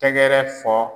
Tɛgɛrɛ fɔ